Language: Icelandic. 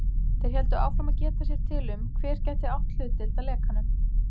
Þeir héldu áfram að geta sér til um, hver gæti átt hlutdeild að lekanum.